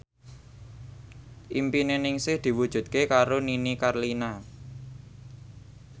impine Ningsih diwujudke karo Nini Carlina